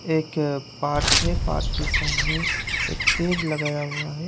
एक पार्क है पार्क के सामने एक पेर लगाया हुआ है।